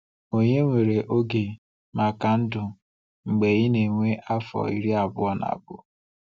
Ònye nwere oge maka ndụ mgbe ị na-enwe afọ iri abụọ na abụọ?